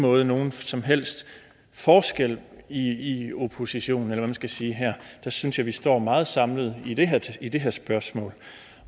måde nogen som helst forskel i oppositionen eller hvad man skal sige her jeg synes vi står meget samlet i det her spørgsmål